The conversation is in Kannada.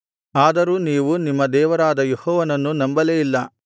ಆದರೂ ನೀವು ನಿಮ್ಮ ದೇವರಾದ ಯೆಹೋವನನ್ನು ನಂಬಲೇ ಇಲ್ಲ